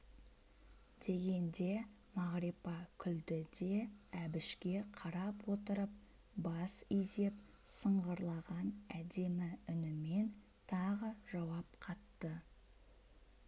дегенде мағрипа күлді де әбішке қарап отырып бас изеп сыңғырлаған әдемі үнімен тағы жауап қатты